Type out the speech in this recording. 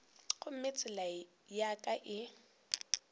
gomme tsela ya ka e